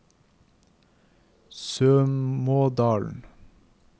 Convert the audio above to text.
Sømådalen